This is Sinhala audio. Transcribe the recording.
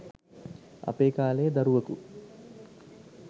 අපේ කාලයේ දරුවකු